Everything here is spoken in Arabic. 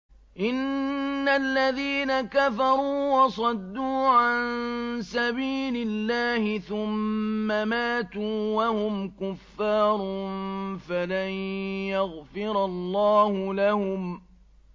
إِنَّ الَّذِينَ كَفَرُوا وَصَدُّوا عَن سَبِيلِ اللَّهِ ثُمَّ مَاتُوا وَهُمْ كُفَّارٌ فَلَن يَغْفِرَ اللَّهُ لَهُمْ